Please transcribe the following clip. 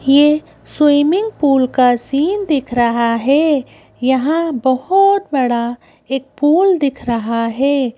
ये swimming pool का scene दिख रहा है यहाँ बहुत बड़ा एक पूल दिख रहा है।